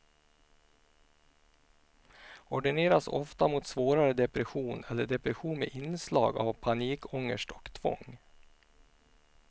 Ordineras ofta mot svårare depression eller depression med inslag av panikångest och tvång.